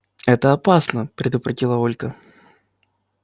это опасно предупредила ольга